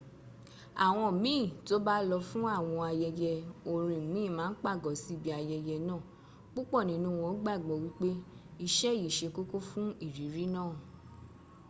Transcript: àwọn míìn to ba lọ fún àwọn ayẹyẹ orin míìn ma n pàgọ́ sí ibi ayẹyẹ náà púpọ̀ nínú wọ́n gbàgbọ́ wípé ìṣe yí ṣe kókó fún ìrírí náà